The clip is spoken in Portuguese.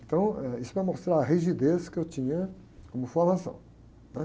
Então, eh, isso vai mostrar a rigidez que eu tinha como formação, né?